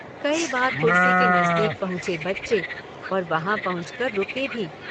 कई बार कुर्सी के नजदीक पहुँचे बच्चे और वहां पहुंच कर रुके भी।